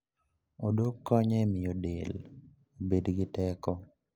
Odok konyo e miyo del obed gi teko.